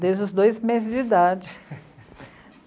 Desde os dois meses de idade.